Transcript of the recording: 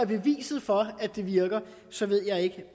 beviset for at det virker så ved jeg ikke